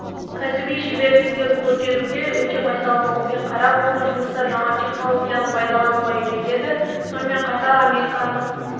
кәсіби шеберліктерін көтеруге өте байсалдылықпен қарап оны жұмыста жаңа технологияны пайдалануға үйретеді сонымен қатар американдық